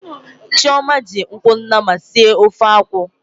Chioma ji ụkwụ nama sie ofe akwu.